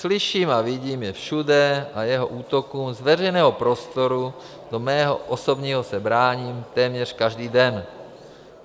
Slyším a vidím je všude a jeho útokům z veřejného prostoru do mého osobního se bráním téměř každý den.